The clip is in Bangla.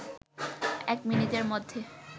১ মিনিটের মধ্যে